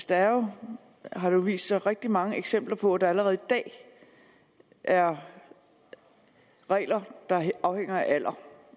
der er jo har det vist sig rigtig mange eksempler på at der allerede i dag er regler der afhænger af alder